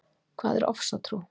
Hvað er ofsatrú?